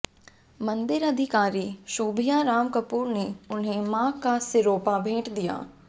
मंदिर अधिकारी शोभिया राम कपूर ने उन्हे मां का सिरोपा भेंट किया